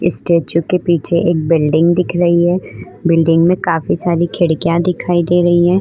Statue के पीछे एक बिल्डिंग दिख रही है। बिल्डिंग में काफी सारी खिड़कियां दिखाई दे रही हैं।